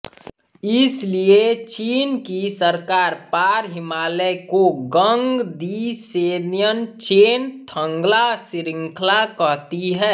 इसलिए चीन की सरकार पारहिमालय को गंगदिसेन्येनचेन थंगल्हा शृंखला कहती है